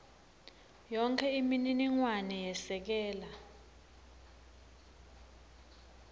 yonkhe imininingwane yesekela